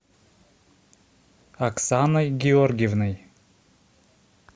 оксаной георгиевной